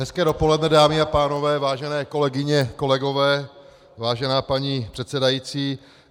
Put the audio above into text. Hezké dopoledne dámy a pánové, vážené kolegyně, kolegové, vážená paní předsedající.